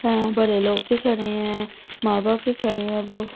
यह बड़े लोग भी खड़े है माँ-बाप भी खड़े हैं वो--